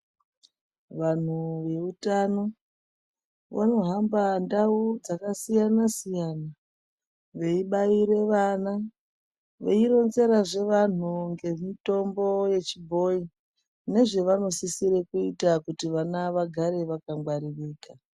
Vanhu veutano vanohamba ndau dzakasiyana siyana veibaire vana , veironzerazve vantu ngemitombo yechibhoyi nezvevanosisire kuita kuti vana vagare vakagwaririka.